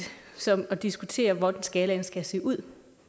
som at diskutere hvordan skalaen skal se ud